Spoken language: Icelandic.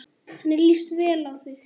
Henni líst vel á þig.